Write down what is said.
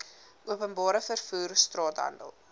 openbare vervoer straathandel